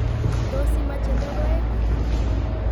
Tos imache logoek?